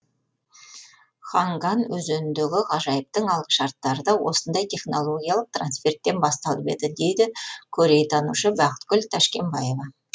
ханган өзеніндегі ғажайыптың алғышарттары да осындай технологиялық трансферттен басталып еді дейді корейтанушы бақытгүл тәшкенбаева